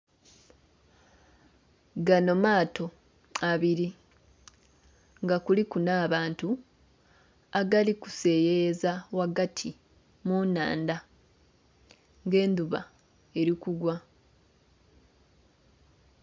Gano maato abiri nga kuliku n'abantu gali kuseyeyeza ghagati mu nnhandha nga endhuba eri kugwa.